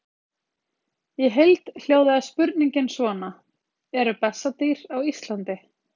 Í heild hljóðaði spurningin svona: Eru bessadýr á Íslandi?